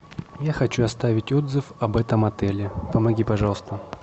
я хочу оставить отзыв об этом отеле помоги пожалуйста